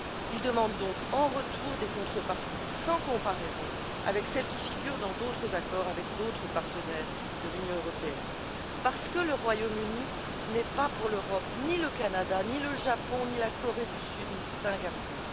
Il demande donc en retour des contreparties sans commune mesure avec celles qui figurent dans d'autres accords avec d'autres partenaires de l'Union européenne parce que le Royaume Uni n'est pas pour l'Europe le Canada, ni le Japon, ni la Corée du Sud, ni Singapour